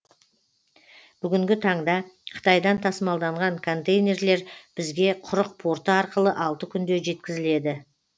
бүгінгі таңда қытайдан тасымалданған контейнерлер бізге құрық порты арқылы алты күнде жеткізіледі